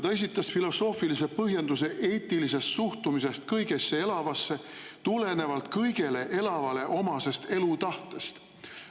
Ta esitas filosoofilise põhjenduse eetilisest suhtumisest kõigesse elavasse tulenevalt kõigele elavale omasest elutahtest.